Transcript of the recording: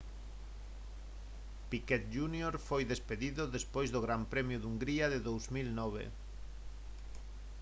piquet jr foi despedido despois do gran premio de hungría de 2009